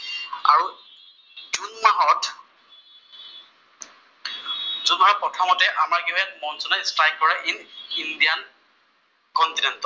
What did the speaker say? জুনৰ প্ৰথমতে আমাৰ কি হয় মনচুনে ষ্ট্ৰাইক কৰে ইন ইণ্ডিয়ান কন্টিনেন্টত।